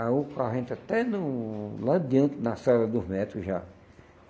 Aí o carro entra até no lá adiante, na sala dos médicos já.